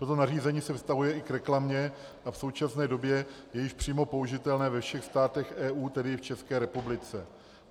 Toto nařízení se vztahuje i k reklamě a v současné době je již přímo použitelné ve všech státech EU, tedy i v České republice.